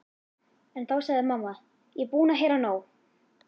En þá sagði mamma: Ég er búin að heyra nóg!